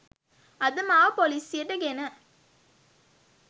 අද මාව පොලිසියට ගෙන